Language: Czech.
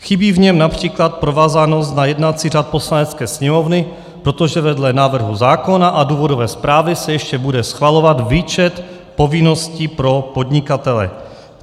Chybí v něm například provázanost na jednací řád Poslanecké sněmovny, protože vedle návrhu zákona a důvodové zprávy se ještě bude schvalovat výčet povinností pro podnikatele.